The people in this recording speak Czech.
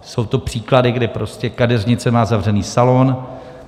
Jsou to příklady, kdy prostě kadeřnice má zavřený salon,